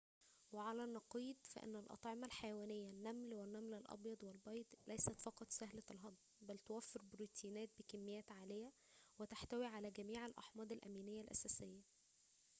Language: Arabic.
وعلى النقيض، فإن الأطعمة الحيوانية النمل والنمل الأبيض والبيض ليست فقط سهلة الهضم، بل توفر بروتيناتٍ بكميات عالية وتحتوي على جميع الأحماض الأمينية الأساسية